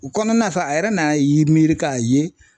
U kɔnɔna sa a yɛrɛ nan'a ye miiri k'a ye